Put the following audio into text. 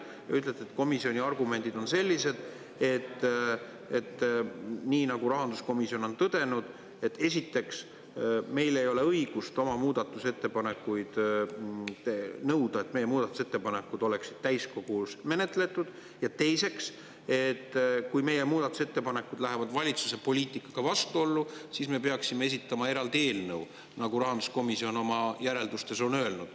Te ütlete, et komisjoni argumendid on sellised, nagu rahanduskomisjon on tõdenud, et esiteks meil ei ole õigust nõuda, et meie muudatusettepanekud oleksid täiskogus menetletud, ja teiseks, kui meie muudatusettepanekud lähevad valitsuse poliitikaga vastuollu, siis me peaksime esitama eraldi eelnõu, nagu rahanduskomisjon oma järeldustes on öelnud.